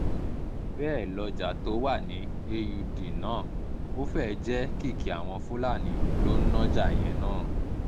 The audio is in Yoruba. bẹ́ẹ̀ lọ́jà tó wà ní um aud náà ó fẹ́ẹ̀ jẹ́ kìkì àwọn fúlàní ló ń nájà um yẹn náà